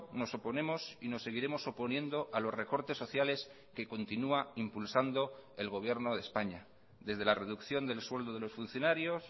nos oponemos y nos seguiremos oponiendo a los recortes sociales que continúa impulsando el gobierno de españa desde la reducción del sueldo de los funcionarios